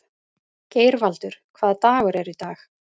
Geirvaldur, hvaða dagur er í dag?